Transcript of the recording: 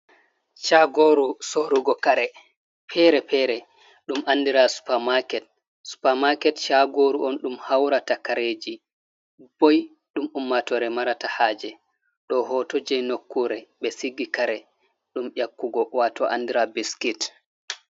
Shagoru sorugo kare fere-fere ɗum andira supermarket. Supermarket shagoru on ɗum haurata kareji boi ɗum ummatore marata haje. Ɗo hoto jei nokkure ɓe sigi kare ɗum yakkugo wato andira biskit(biscuit).